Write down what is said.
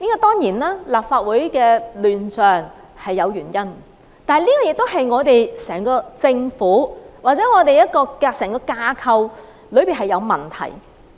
當然，立法會的亂象是有原因的，這個也是整個政府或整個架構的問題。